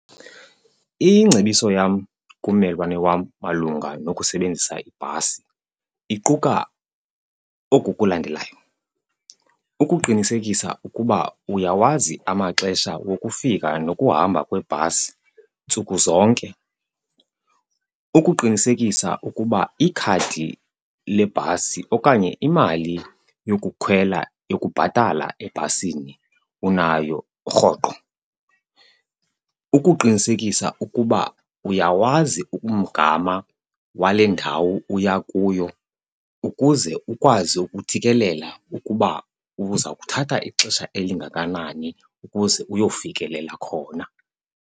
Ingcebiso yam kummelwane wam malunga nokusebenzisa ibhasi iquka oku kulandelayo. Ukuqinisekisa ukuba uyawazi amaxesha wokufika nokuhamba kwebhasi ntsuku zonke. Ukuqinisekisa ukuba ikhadi lebhasi okanye imali yokukhwela yokubhatala ebhasini unayo rhoqo. Ukuqinisekisa ukuba uyawazi umgama wale ndawo uya kuyo ukuze ukwazi ukuthikelela ukuba uza kuthatha ixesha elingakanani ukuze uyofikelela khona.